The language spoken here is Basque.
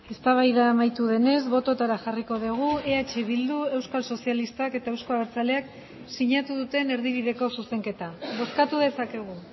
eztabaida amaitu denez bototara jarriko dugu eh bildu euskal sozialistak eta euzko abertzaleak sinatu duten erdibideko zuzenketa bozkatu dezakegu